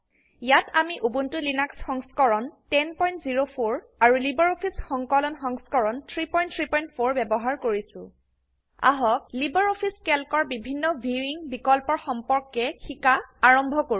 ইয়াত আমি উবুন্টুৰ লিনাক্স সংস্কৰণ 1004 আৰু লাইব্ৰঅফিছ সংকলন সংস্কৰণ 334 ব্যবহাৰ কৰিছো আহক লাইব্ৰঅফিছ ক্যালকৰ বিভিন্ন ভিউইং প্ৰদৰ্শন বিকল্পৰ সম্পৰ্কে শিকা আৰম্ভ কৰো